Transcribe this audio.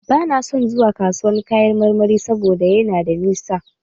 Bana son zuwa kasuwan kayan marmari sabo da yana da nisa.